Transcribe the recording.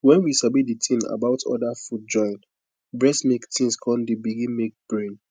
when we sabi the thing about other food join breast milk things con dey begin make brain